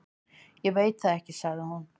Ég veit það ekki, sagði hún.